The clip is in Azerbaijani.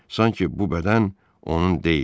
Sanki bu bədən onun deyildi.